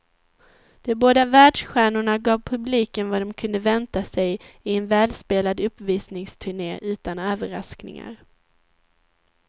De båda världsstjärnorna gav publiken vad de kunde vänta sig i en välspelad uppvisningsturné utan överraskningar.